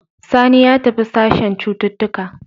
Sani ya tafi sashen cututtuka.